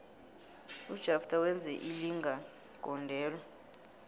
ujafter wenze ilinga gondelo